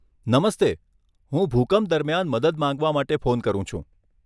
નમસ્તે, હું ભૂકંપ દરમિયાન મદદ માંગવા માટે ફોન કરું છું.